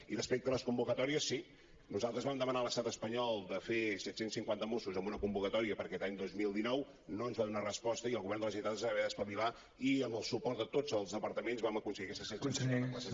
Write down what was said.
i respecte a les convocatòries sí nosaltres vam demanar a l’estat espanyol de fer set cents i cinquanta mossos amb una convocatòria per aquest any dos mil dinou no ens va donar resposta i el govern de la generalitat es va haver d’espavilar i amb el suport de tots els departaments vam aconseguir aquestes set cents i cinquanta places